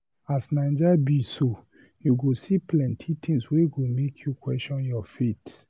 As Naija be so, you go see plenty tins wey go make you question your faith.